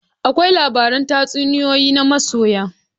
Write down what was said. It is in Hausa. Akwai labaran tatsuniyoyi na soyayya.